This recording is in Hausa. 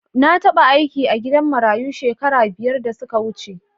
Na taba aiki a gidan marayu shekaru biyar da suka wuce.